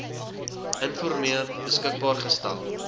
informeel beskikbaar gestel